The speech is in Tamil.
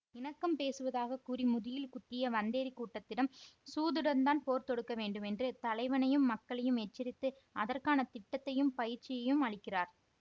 இணக்கம் பேசுவதாக கூறி முதுகில் குத்திய வந்தேறி கூட்டத்திடம் சூதுடன் தான் போர் தொடுக்க வேண்டும் என்று தலைவனையும் மக்களையும் எச்சரித்து அதற்கான திட்டத்தையும் பயிற்சியையும் அளிக்கிறார்